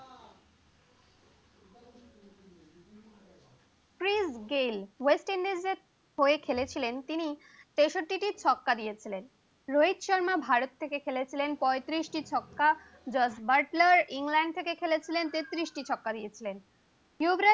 Chris Gayle West Indies এর হয়ে খেলেছিলেন তিনি তেষট্টিটি ছক্কা মেরে দিলেন, রোহিত শর্মা ভারত থেকে খেলেছিলেন পয়ত্রিশ টি ছক্কা, জর্জ বাটলার কে খেলেছিলেন তেত্রিশ টি ছক্কা মেরেছিলেন